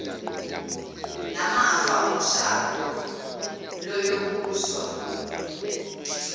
namafa omshado luyobuswa